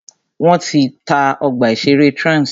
Wọ́n ti ta ọgbà ìṣẹ̀rẹ́ Trans.